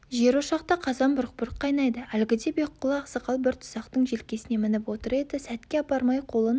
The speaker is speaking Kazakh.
жерошақта қазан бұрқ-бұрқ қайнайды әлгіде бекқұлы ақсақал бір тұсақтың желкесіне мініп отыр еді сәтке апармай қолын